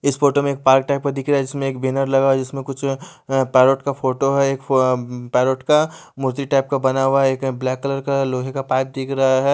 इस फोटो में park type का दिख रहा है जिसमें एक बैनर लगा जिसमें कुछ पैरट का फोटो है एक उम्म पैरेट का मूर्ति टाइप का बना हुआ है एक ब्लैक कलर का लोहे का पाइप दिख रहा है।